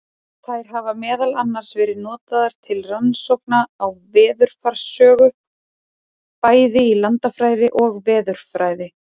Þær hafa meðal annars verið notaðar til rannsókna á veðurfarssögu, bæði í landafræði og veðurfræði.